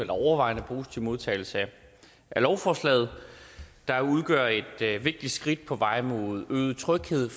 modtagelse af lovforslaget der udgør et vigtigt skridt på vejen mod øget tryghed